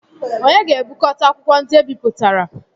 Onye ga-ebukọta akwụkwọ ndị ebipụtara?